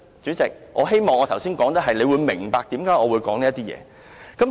主席，我希望你明白為何我作出這些論述。